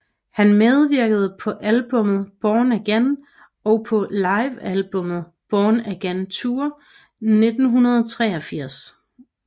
Han medvirkede på albummet Born Again og på livealbummet Born Again Tour 1983